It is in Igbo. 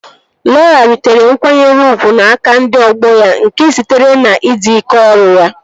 Lọra ritere nkwanyere ugwu n'aka ndị ọgbọ ya nke sitere na ịdị ike ọrụ ya